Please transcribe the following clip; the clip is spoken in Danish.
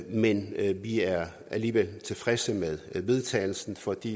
men vi er alligevel tilfredse med vedtagelsen fordi